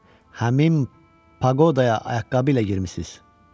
Həmin paqodaya ayaqqabı ilə girmisiz.